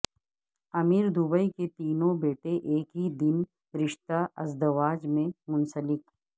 امیر Dubai کے تینوں بیٹے ایک ہی دن رشتہ ازدواج میں منسلک